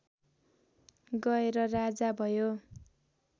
गएर राजा भयो